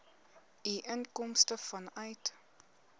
u inkomste vanuit